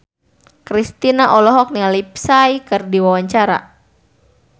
Kristina olohok ningali Psy keur diwawancara